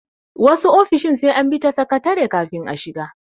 Wasu ofishin sai an bi ta sakatare kafin a shiga.